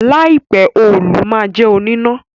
láì pẹ Òòlù má jé oníná